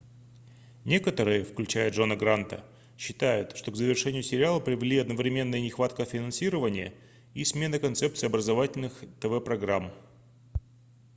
некоторые включая джона гранта считают что к завершению сериала привели одновременно и нехватка финансирования и смена концепции образовательных тв-программ